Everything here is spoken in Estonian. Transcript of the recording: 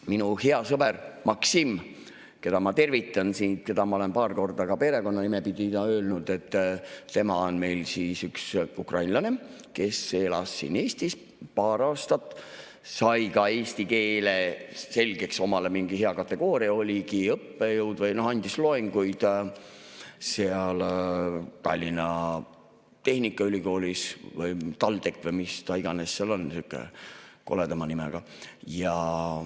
Minu hea sõber Maksim, keda ma tervitan siit, keda ma olen paar korda ka perekonnanime pidi nimetanud, tema on üks ukrainlane, kes elas siin Eestis paar aastat, sai ka eesti keele selgeks, omale mingi hea kategooria, oligi õppejõud või andis loenguid Tallinna Tehnikaülikoolis, TalTechis või mis ta iganes seal on, sihukese koleda nimega.